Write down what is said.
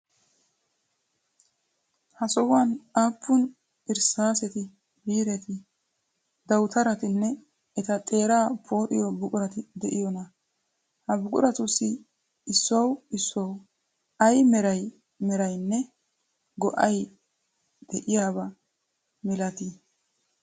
Ha sohuwan aappun irssaaseti, biireti, dawutaratinn eta xeeraa pooxiyo buqurati de'iyonaa? Ha buquratussi issuwawu issuwawu ayba meray meraynne go''ay de'iyaba milatii?